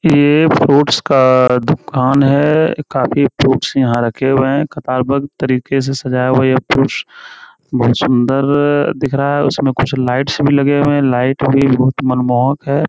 ये फ्रूट्स का दुकान है। काफी फ्रूट्स यहाँ रखे हुए है। कतार बद्ध तरीके से सजाया हुआ है। ये फ्रूट्स बोहोत सुंदर अ दिख रहा है। उसमे कुछ लाइट्स भी लगे हुए है। लाइट भी बोहोत मन मोहक है।